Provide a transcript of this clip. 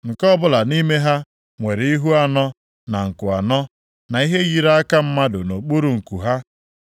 Nke ọbụla nʼime ha nwere ihu anọ na nku anọ, na ihe yiri aka mmadụ nʼokpuru nku ha.